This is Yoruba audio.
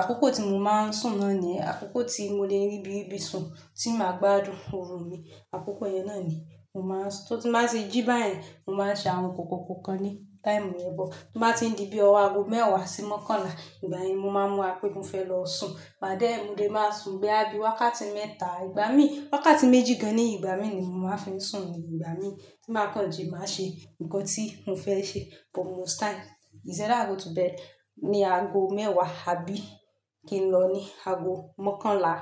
àkókò tí mo máa ń sùn náà ni àkókò tí mo lè ríbi ríbi sùn tí màá gbádùn orun mi. Àkókò yẹn náà ni mo máa ń sùn. So, ti má ti jí báyẹn, mo máa ń ṣe àwọn nǹkan kan ní táìmù but tó bá ti ń di bí i ọwọ́ ago mẹ́wàá sí mọ́kànlá, ìgbà yẹn ni mo máa ń múra pé mo fẹ́ lọ sùn. Ma dẹ́ ẹ̀, mo dẹ̀ máa sùn bóyá bí i wákàtí mẹ́ta ìgbà mí, wákàtí méjì gan-an ní ìgbà mìí ì ni mò ń máa ń fi sùn, nígbà mìí ì, tí màá kan ji mà á ṣe nǹkan tí mo fẹ́ ṣe but most time. Is either i go to bed ní ago mẹ́wàá àbí kí n lọ ní ago mọ́kànlá.